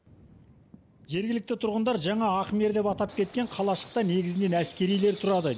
жергілікті тұрғындар жаңа ахмер деп атап кеткен қалашықта негізінен әскерилер тұрады